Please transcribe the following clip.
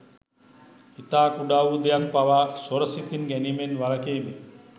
ඉතා කුඩා වූ දෙයක් පවා සොර සිතින් ගැනීමෙන් වළකිමි